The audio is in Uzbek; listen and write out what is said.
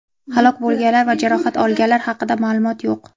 Halok bo‘lganlar va jarohat olganlar haqida ma’lumot yo‘q.